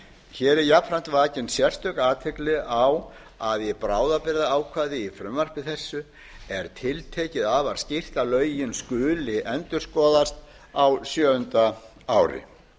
hér er jafnframt vakið sérstök athygli á að í bráðabirgðaákvæði í frumvarpi þessu er tiltekið afar skýrt að lögin skuli endurskoðast á sjöunda ári